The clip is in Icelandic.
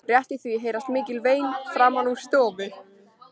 Rétt í því heyrast mikil vein framan úr stofu.